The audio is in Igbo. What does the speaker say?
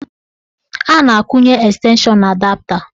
A na-akwụnye estenshọn na adapta.